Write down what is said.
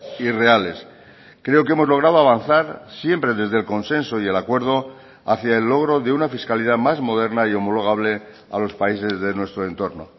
y reales creo que hemos logrado avanzar siempre desde el consenso y el acuerdo hacia el logro de una fiscalidad más moderna y homologable a los países de nuestro entorno